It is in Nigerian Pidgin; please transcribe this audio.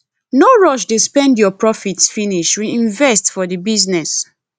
no rush dey spend your profit finish reinvest for di business